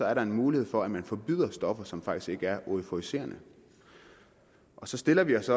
er der en mulighed for at man forbyder stoffer som faktisk ikke er euforiserende så stiller vi os